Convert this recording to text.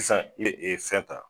Sisan i be fɛn ta